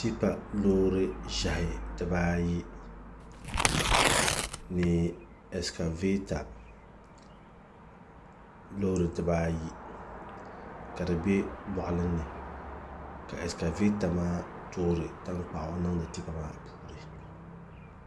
Tipa loori ʒiɛhi dibaayi ni ɛskavɛta loori dibaayi ka di bɛ boɣali ni ka ɛskavɛta maa toori tankpaɣu niŋdi tipa maa puuni